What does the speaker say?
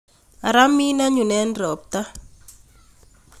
Ara min anyun en ropta.